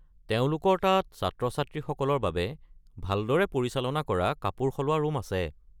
তেওঁলোকৰ তাত ছাত্ৰ-ছাত্ৰীসকলৰ বাবে ভালদৰে পৰিচালনা কৰা কাপোৰ সলোৱা ৰুম আছে।